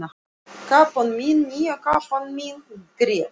Kápan mín, nýja kápan mín grét